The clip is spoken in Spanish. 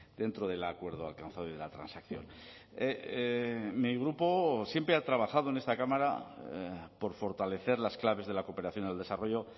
dentro del acuerdo alcanzado y de la transacción mi grupo siempre ha trabajado en esta cámara por fortalecer las claves de la cooperación al desarrollo